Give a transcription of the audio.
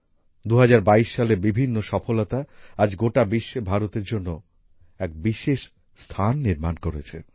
২০২২ সালের বিভিন্ন সফলতা আজ গোটা বিশ্বে ভারতের জন্য এক বিশেষ স্থান নির্মাণ করেছে